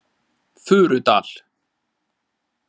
Furudal